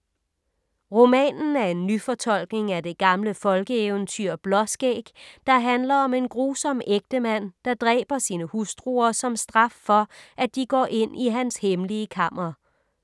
Romanen er en nyfortolkning af det gamle folkeeventyr Blåskæg, der handler om en grusom ægtemand, der dræber sine hustruer som straf for, at de går ind i hans hemmelige kammer.